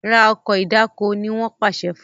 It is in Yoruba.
rà Ọkọ̀ ìdáko! ní wón pàṣẹ fún